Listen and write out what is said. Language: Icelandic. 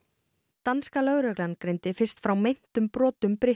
danska lögreglan greindi fyrst frá meintum brotum